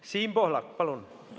Siim Pohlak, palun!